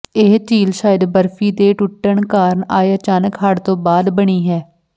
ਇਹ ਝੀਲ ਸ਼ਾਇਦ ਬਰਫੀ ਦੇ ਟੁੱਟਣ ਕਾਰਨ ਆਏ ਅਚਾਨਕ ਹੜ ਤੋਂ ਬਾਅਦ ਬਣੀ ਹੈ